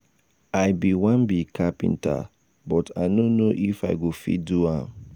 i bin wan be carpenter but i no know if i go fit do am.